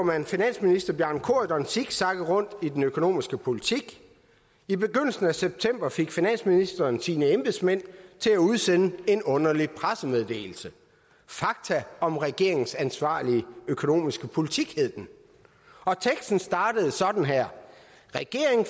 man finansministeren zigzagge rundt i den økonomiske politik i begyndelsen af september fik finansministeren sine embedsmænd til at udsende en underlig pressemeddelelse fakta om regeringens ansvarlige økonomiske politik hed den og teksten startede sådan her regeringen